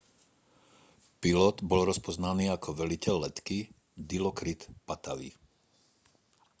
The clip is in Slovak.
pilot bol rozpoznaný ako veliteľ letky dilokrit pattavee